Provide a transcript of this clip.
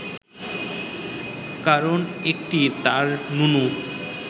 কারণ একটিই, তাঁর নুনু